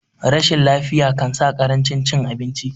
rashin lafiya kansa karancin cin abinci